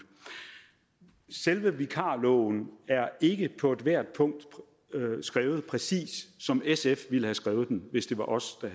selve vikarloven er ikke på ethvert punkt skrevet præcis som sf havde skrevet den hvis det var os der